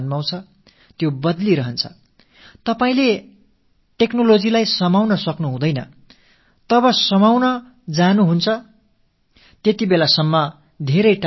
நீங்கள் தொழில்நுட்பத்தை பிடித்து இருத்தி வைக்க முடியாது அப்படியே நீங்கள் பிடிக்கப் போனால் அதற்குள் அது எங்கோ தொலைவான இடத்தில் ஒரு புதிய வடிவத்தோடு பொலிவாக வீற்றிருக்கும்